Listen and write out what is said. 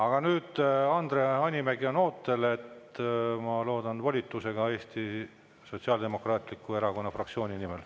Aga nüüd, Andre Hanimägi on ootel, ma loodan, et volitusega Eesti Sotsiaaldemokraatliku Erakonna fraktsioonilt.